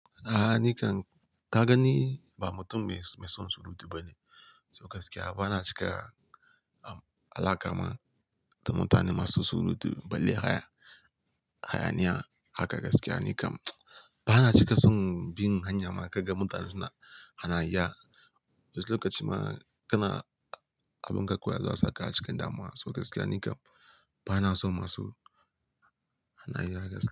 A'a ni kam ka ga ni ba mutum mai, mai son surutu ba ne. So gaskiya bana cika alaka ma da mutane masu surutu, balle haya, hayaniya. Haka gaskiya ni kam bana cika son bin hanya ma kaga mutanen suna hanayya. Lokaci ma kana abin ka kawai a zo a sa ka a cikin damuwa. To gaskiya ni kam bana so masu hanayya gaskiya.